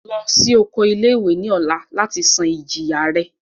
Lọ si oko ile-iwe ni ọla lati san ijiya rẹ!